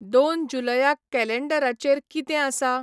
दोन जुलयाक कॅलेॆडराचेर किदें आसा